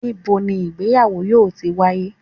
nibo ni ìgbéyàwò yoo ti waye?